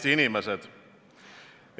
Head Eesti inimesed!